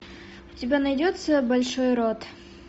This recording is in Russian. у тебя найдется большой рот